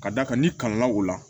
Ka d'a kan n'i kalanna o la